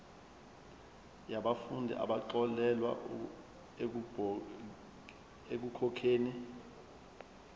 yabafundi abaxolelwa ekukhokheni